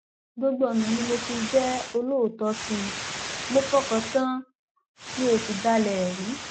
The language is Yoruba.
gbogbo ọnà ni mo fi jẹ olóòótọ sí i mo fọkàn tán an mi ò sì dalẹ ẹ rí